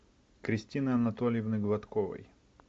кристины анатольевны гладковой